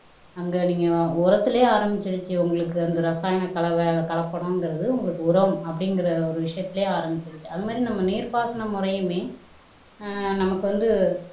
அங்க நீங்க உரத்திலேயே ஆரம்பிச்சிருச்சு உங்களுக்கு அந்த ரசாயன கலவை கலப்படம்ங்கிறது உங்களுக்கு உரம் அப்படிங்கிற ஒரு விஷயத்திலேயே ஆரம்பிச்சிருச்சு அது மாறி நம்ம நீர்ப்பாசன முறையுமே ஆஹ் நமக்கு வந்து